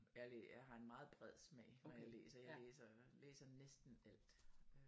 Jeg har en meget bred smag når jeg læser jeg læser læser næsten alt